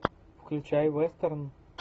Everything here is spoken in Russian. включай вестерн